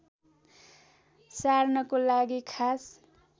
सार्नको लागि खास